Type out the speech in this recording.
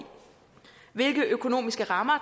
hvilke økonomiske rammer